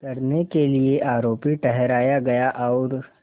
करने के लिए आरोपी ठहराया गया और